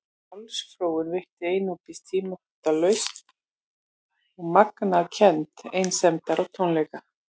Sjálfsfróun veitti einungis tímabundna lausn og magnaði kennd einsemdar og tómleika.